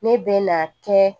Ne bɛ na kɛ